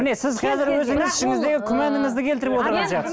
міне сіз қазір өзіңіз ішіңіздегі күмәніңізді келтіріп отырған сияқтысыз